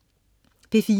P4: